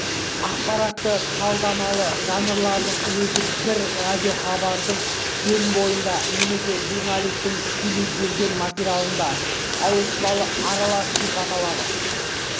ақпаратты-талдамалы жанрлардың өзі бір радиохабардың өн бойында немесе журналистің тікелей берген материалында ауыспалы аралас сипат алады